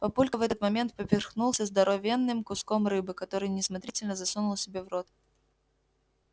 папулька в этот момент поперхнулся здоровенным куском рыбы который неосмотрительно засунул себе в рот